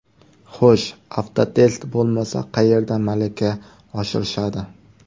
Xo‘sh, Avtotest bo‘lmasa, qayerda malaka oshirishadi?